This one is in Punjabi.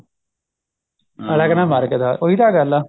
ਅਗਲਾ ਕਹਿੰਦਾ ਮਾਰ ਕੇ ਦਿਖਾ ਉਹੀ ਤਾਂ ਗੱਲ ਆ